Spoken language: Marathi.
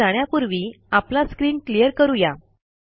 पुढे जाण्यापूर्वी आपला स्क्रीन क्लियर करू या